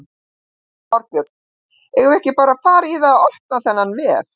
Þorbjörn: Eigum við ekki bara að fara í það að opna þennan vef?